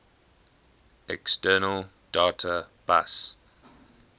external data bus